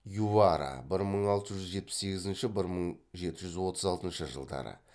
ювара бір мың алты жүз жетпіс сегізінші бір мың жеті жүз отыз алтыншы жылдары